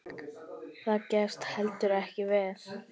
Það gafst heldur ekki vel.